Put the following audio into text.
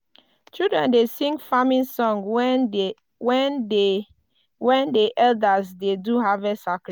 children dey sing farming song when de when de when de elders dey do harvest sacrifice.